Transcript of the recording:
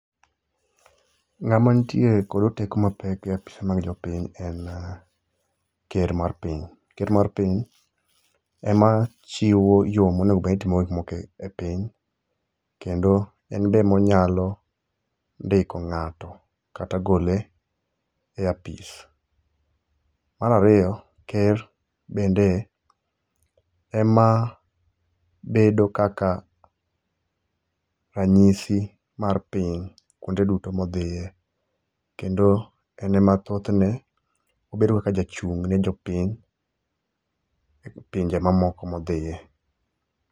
Ng'ama ntie kod oteku mapek e apise mag jopiny en ker mar piny. Ker mar piny ema chiwo yoo monego bed ni itimogo gik moko e e piny, kendo enbe emonyalo ndiko ng'ato kata gole e apis. Marario, ker bende ema bedo kaka ranyisi mar piny kwonde duto modhie, kendo en ema thothne obedo kaka jachung' ne jopiny e pinje mamoko modhie.